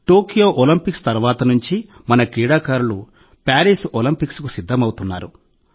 Tokyo Olympics తర్వాత నుంచి మన క్రీడాకారులు ప్యారిస్ ఒలింపిక్స్కు సిద్ధమవుతున్నారు